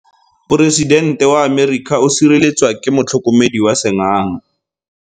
Poresidente wa Amerika o sireletswa ke motlhokomedi wa sengaga.